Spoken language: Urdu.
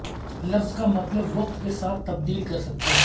لفظ کا مطلب وقت کے ساتھ تبدیل کر سکتا ہے